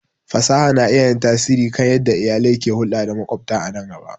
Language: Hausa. Fasaha na iya yin tasiri kan yadda iyalai ke hulɗa da maƙwabta a nan gaba.